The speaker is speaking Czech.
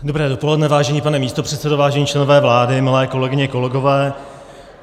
Dobré dopoledne, vážený pane místopředsedo, vážení členové vlády, milé kolegyně, kolegové.